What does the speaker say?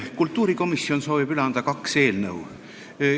Kultuurikomisjon soovib üle anda kaks eelnõu.